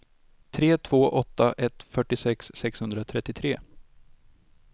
tre två åtta ett fyrtiosex sexhundratrettiotre